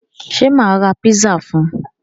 Ṣé mà ra pizza fún un?